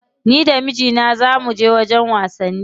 Ni da mijina za muje wajen wasanni.